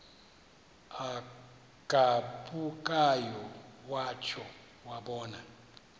agabukayo watsho wabona